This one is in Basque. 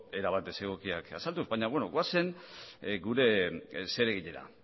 erabat desegokiak azalduz baina beno goazen gure zereginera